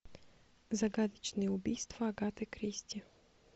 загадочные убийства агаты кристи